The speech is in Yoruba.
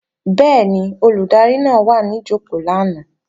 Bẹ́ẹ̀ni, Olùdarí náà wà ní jòkó lánàá